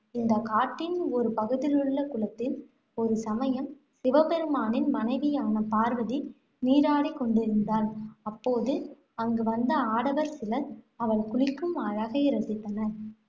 இந்தக் காட்டின் ஒரு பகுதியிலுள்ள குளத்தில், ஒருசமயம் சிவபெருமானின் மனைவியான பார்வதி நீராடிக் கொண்டிருந்தாள். அப்போது அங்கு வந்த ஆடவர் சிலர், அவள் குளிக்கும் அழகை ரசித்தனர்.